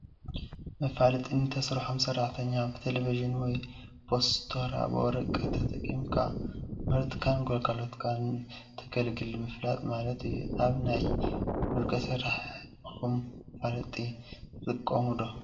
መፋለጢ ንትሰርሖም ስራሕቲ ብቴሌቭዥን ወይ ብፖስቶራት ብወረቀት ተጠቀምካ ምህርትካን ግልጋሎትካን ንተግልጋለይ ምፍላጥ ማለት እዩ። ኣብ ናይ ውልቀ ስራሕኩም መፋለጢ ትጥቀሙ ዶ ?